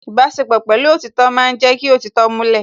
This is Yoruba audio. Ìbáṣepọ̀ pẹ̀lú òtítọ́ ma ń jẹ́ kí òtítọ́ múlẹ̀